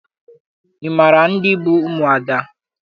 Ị maara ndị bụ ụmụada?